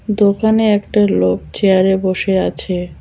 দোকানে একটা লোক চেয়ারে বসে আছে।